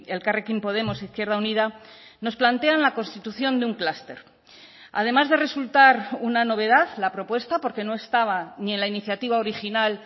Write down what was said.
elkarrekin podemos izquierda unida nos plantean la constitución de un cluster además de resultar una novedad la propuesta porque no estaba ni en la iniciativa original